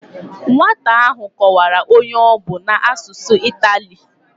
Nwata ahụ kọwara onye ọ bụ a n'asụsụ itali